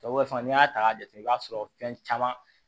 Tubabu fana n'i y'a ta k'a jate i b'a sɔrɔ fɛn caman